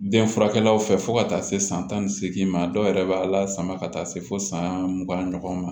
Den furakɛlaw fɛ fo ka taa se san tan ni seegin ma a dɔw yɛrɛ b'a la sama ka taa se fo san mugan ɲɔgɔn ma